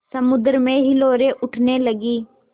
समुद्र में हिलोरें उठने लगीं